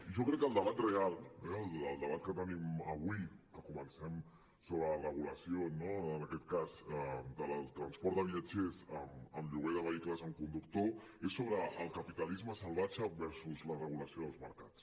i jo crec que el debat real el debat que tenim avui que comencem sobre la regulació no en aquest cas del transport de viatgers amb lloguer de vehicles amb conductor és sobre el capitalisme salvatge versus la regulació dels mercats